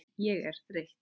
Ég er þreytt.